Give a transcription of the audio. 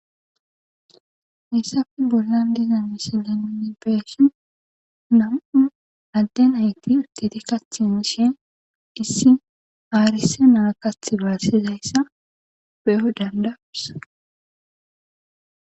issafe bollan diiza mishilanini beeshin na7u adde ayti urtiti kathinishen dissi aarise naa kath baassizayssa peo dandawussa